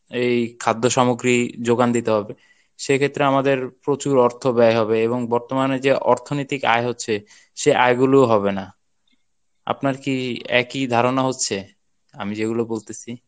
এই খাদ্য সামগ্রী যোগান দিতে হবে. সেক্ষেত্রে আমাদের প্রচুর অর্থ ব্যয় হবে এবং বর্তমানে যে অর্থনিতিক আয় হচ্ছে সেই আয় গুলোউ হবে না আপনার কী একই ধারণা হচ্ছে আমি যেগুলো বলতেছি